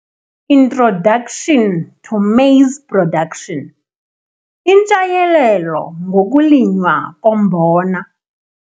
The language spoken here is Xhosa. Introduction to Maize Production - Intshayelelo ngokuLinywa koMbona